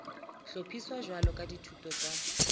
hlophiswa jwalo ka dithuto tsa